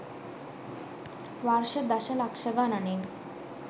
වර්ෂ දශ ලක්‍ෂ ගණනින්